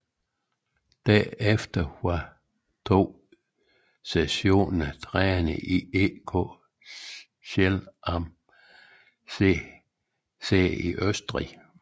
Derefter var i to sæsoner træner i EK Zell am See i Østrig